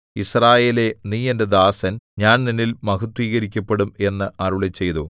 യിസ്രായേലേ നീ എന്റെ ദാസൻ ഞാൻ നിന്നിൽ മഹത്ത്വീകരിക്കപ്പെടും എന്ന് അരുളിച്ചെയ്തു